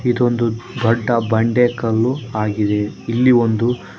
ಇದೊಂದು ದೊಡ್ಡ ಬಂಡೆ ಕಲ್ಲು ಆಗಿದೆ ಇಲ್ಲಿ ಒಂದು --